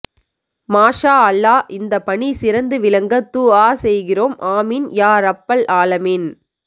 மாஷா அல்லாஹ் இந்த பணி சிறந்து விளங்க துஆ செய்கிறோம் ஆமீன் யா ரப்பல் ஆலமீன்